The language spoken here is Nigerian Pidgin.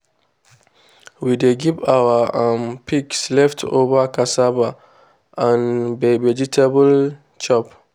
we dey give our um pigs leftover cassava and vegetable chop.